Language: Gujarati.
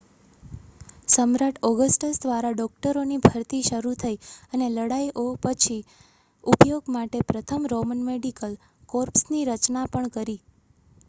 સમ્રાટ ઓગસ્ટસ દ્વારા ડૉક્ટરોની ભરતી શરૂ થઈ અને લડાઈ ઓપછી ઉપયોગ માટે પ્રથમ રોમન મેડિકલ કોર્પ્સની રચના પણ કરી